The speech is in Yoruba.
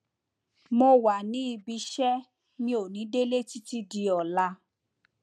mo wà níbi iṣẹ mi ò ní délé títí di ọla